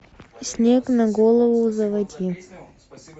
снег на голову заводи